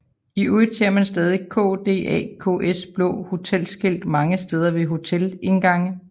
I øvrigt ser man stadig KDAKs blå hotelskilt mange steder ved hotelindgange